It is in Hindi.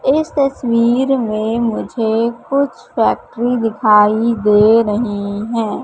इस तस्वीर में मुझे कुछ फैक्ट्री दिखाई दे रही हैं।